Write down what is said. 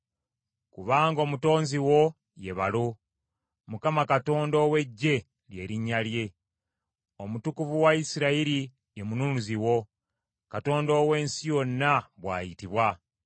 Kubanga Omutonzi wo ye balo, Mukama Katonda ow’Eggye lye linnya lye. Omutukuvu wa Isirayiri ye Mununuzi wo, Katonda ow’ensi yonna, bw’ayitibwa.